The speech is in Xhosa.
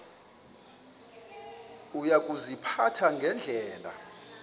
uya kuziphatha ngendlela